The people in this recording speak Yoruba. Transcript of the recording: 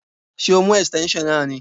Ṣé o mú esíténsion náà ni?